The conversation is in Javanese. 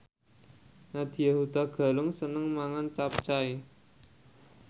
Nadya Hutagalung seneng mangan capcay